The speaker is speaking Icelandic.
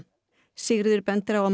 Sigríður bendir á að